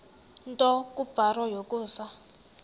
nto kubarrow yokusa